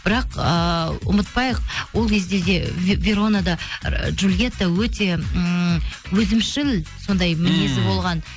бірақ ыыы ұмытпайық ол кезде де верона да джулиетта өте ммм өзімшіл сондай мінезі болған